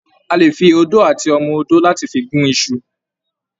A lè fi odó àti ọmọ odó láti fi gún iṣu.